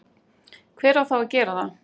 hver á þá að gera það?